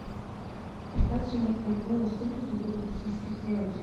продать сорок бальбоа сколько это будет в бразильских реалах